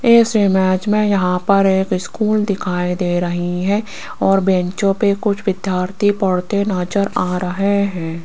इस इमेज में यहां पर एक स्कूल दिखाई दे रही है और बैंचों पर कुछ विद्यार्थी पढ़ते नजर आ रहें है।